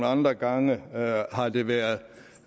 andre gange har det været